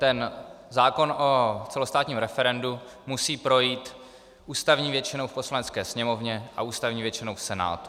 Ten zákon o celostátním referendu musí projít ústavní většinou v Poslanecké sněmovně a ústavní většinou v Senátu.